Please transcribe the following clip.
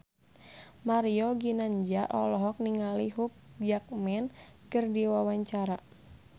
Mario Ginanjar olohok ningali Hugh Jackman keur diwawancara